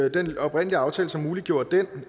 i den oprindelige aftale som muliggjorde den